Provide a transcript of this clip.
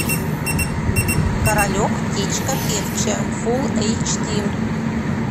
королек птичка певчая фул эйч ди